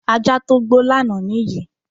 Ajá tó gbó lánàá nìyí.